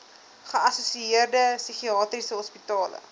geassosieerde psigiatriese hospitale